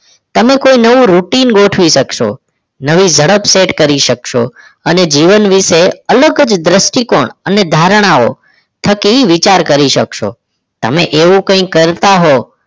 તમે કોઈ નવું routing ગોઠવી શકશો. નવી ઝડપ set કરી શકશો અને જીવન વિશે અલગ જ દ્રષ્ટિ કોણ અને ધારણાઓ થકી વિચાર કરી શકશો. તમે એવું કંઈક કરતા હોવ